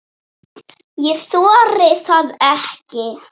Ég þori það ekki.